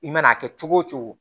I mana kɛ cogo o cogo